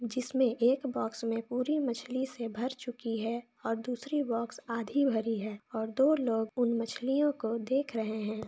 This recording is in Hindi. जिसमे एक बोक्स में पूरी मछली से भर चुकी है और दूसरी बोक्स आधी भरी है और दो लोग उन मछली ओ को देख रहे है।